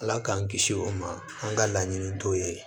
Ala k'an kisi o ma an ka laɲini t'o ye